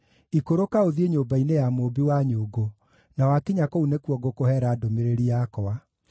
“Ikũrũka ũthiĩ nyũmba-inĩ ya mũũmbi wa nyũngũ, na wakinya kũu nĩkuo ngũkũheera ndũmĩrĩri yakwa.”